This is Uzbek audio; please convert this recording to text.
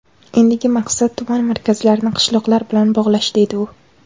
Endigi maqsad tuman markazlarini qishloqlar bilan bog‘lash, deydi u.